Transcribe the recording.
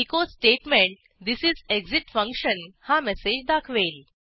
echo statement this is exit function हा message दाखवेल